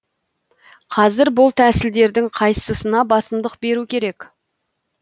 қазір бұл тәсілдердің қайсысына басымдық беру керек